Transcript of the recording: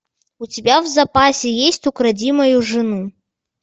у тебя в запасе есть укради мою жену